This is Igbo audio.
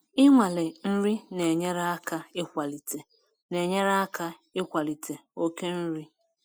Inwale nri na-enyere aka ịkwalite na-enyere aka ịkwalite oke nri.